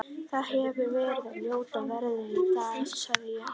Það hefir verið ljóta veðrið í dag- sagði ég.